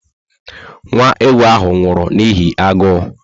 Nwa ewu ahụ nwụrụ n'ihi agụụ